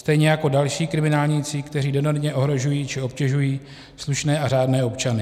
Stejně jako další kriminálníci, kteří enormně ohrožují či obtěžují slušné a řádné občany.